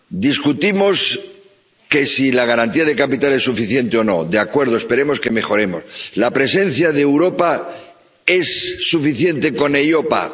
Discutimos si la garantía de capital es suficiente o no. De acuerdo, esperemos que mejoremos. ¿La presencia de Europa es suficiente con EIOPA?